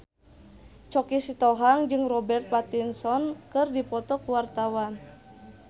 Choky Sitohang jeung Robert Pattinson keur dipoto ku wartawan